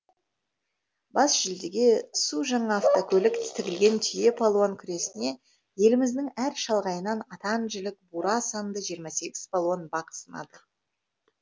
бас жүлдеге су жаңа автокөлік тігілген түйе палуан күресіне еліміздің әр шалғайынан атан жілік бура санды жиырма сегіз палуан бақ сынады